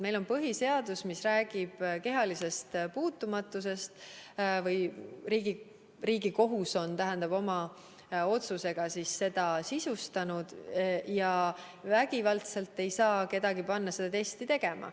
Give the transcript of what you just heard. Meil on põhiseadus, mis räägib kehalisest puutumatusest, Riigikohus oma otsusega on selle sisustanud, ja vägivaldselt ei saa kedagi panna testi tegema.